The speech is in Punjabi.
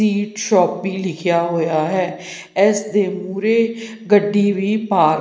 ਸ਼ੋਪੀ ਲਿਖਿਆ ਹੋਇਆ ਹੈ ਇਸ ਦੇ ਮੂਹਰੇ ਗੱਡੀ ਵੀ ਪਾਰਕ --